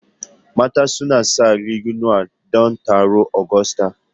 Mata suna sanya riguna don taron Agusta.